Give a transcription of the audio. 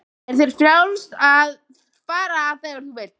Er þér frjálst að fara þegar þú vilt?